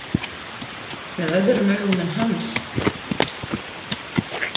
Með öðrum augum en hans.